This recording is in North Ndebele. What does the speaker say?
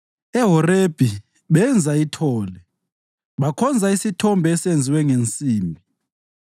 EHorebhi benza ithole, bakhonza isithombe esenziwe ngensimbi.